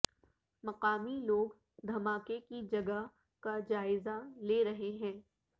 مقامی لوگ دھماکے کی جگہ کا جائزہ لے رہے ہیں